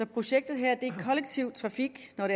projektet her er kollektiv trafik når